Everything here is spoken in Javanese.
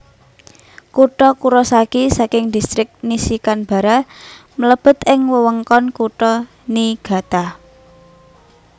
Kutha Kurosaki saking Distrik Nishikanbara mlebet ing wewengkon Kutha Niigata